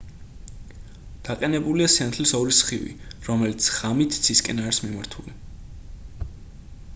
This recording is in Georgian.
დაყენებულია სინათლის ორი სხივი რომელიც ღამით ცისკენ არის მიმართული